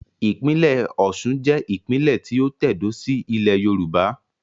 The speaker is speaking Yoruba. Ìpínlẹ̀ Osun jẹ́ ìpínlè tí ó tẹ̀dó síí ilẹ̀ Yorùbá